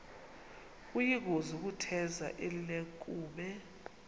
kuyingozi ukutheza elinenkume